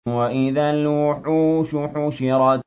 وَإِذَا الْوُحُوشُ حُشِرَتْ